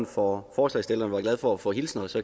for forslagsstillerne er glad for at få hilsner så